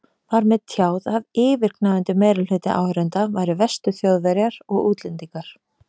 Var mér tjáð að yfirgnæfandi meirihluti áhorfenda væri Vestur-Þjóðverjar og útlendingar.